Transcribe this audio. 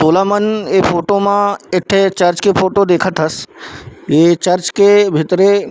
गोलामन ए फोटो मा एक ठो चर्च के फोटो देखथस ये चर्च के भीतरी--